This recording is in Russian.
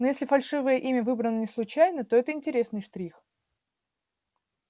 но если фальшивое имя выбрано не случайно то это интересный штрих